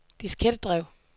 diskettedrev